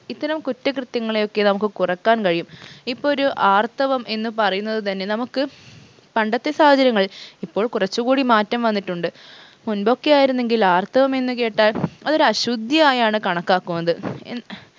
ഇത്തരം കുറ്റകൃത്യങ്ങളെയൊക്കെ നമുക്ക് കുറക്കാൻ കഴിയും ഇപ്പൊ ഒര് ആർത്തവം എന്ന് പറയുന്നത് തന്നെ നമുക്ക് പണ്ടത്തെ സാഹചര്യങ്ങളിൽ ഇപ്പോൾ കുറച്ചു കൂടി മാറ്റം വന്നിട്ടുണ്ട് മുൻപൊക്കെ ആയിരുന്നെങ്കിൽ ആർത്തവം എന്ന് കേട്ടാൽ അതൊരു അശുദ്ധി ആയാണ് കണക്കാക്കുന്നത് എൻ